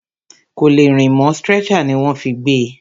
Kò lè rìn mọ́, stretcher ní wọ́n fí gbé e.